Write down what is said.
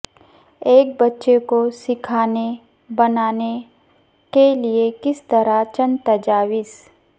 ایک بچے کو سیکھنے بنانے کے لئے کس طرح چند تجاویز